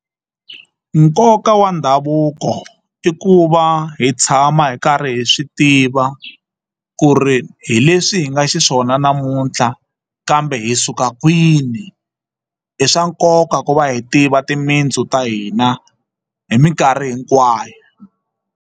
Nkoka wa ndhavuko i ku va hi tshama hi karhi hi swi tiva ku ri hi leswi hi nga xiswona namuntlha kambe hi suka kwini i swa nkoka ku va hi tiva timitsu ta hina hi mikarhi hinkwayo.